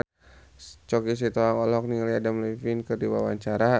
Choky Sitohang olohok ningali Adam Levine keur diwawancara